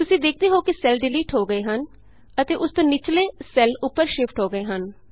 ਤੁਸੀਂ ਵੇਖਦੇ ਹੋ ਕਿ ਸੈੱਲ ਡਿਲੀਟ ਹੋ ਗਏ ਹਨ ਅਤੇ ਉਸ ਤੋਂ ਨਿਚਲੇ ਸੈੱਲ ਉਪਰ ਸ਼ਿਫਟ ਹੋ ਗਏ ਹਨ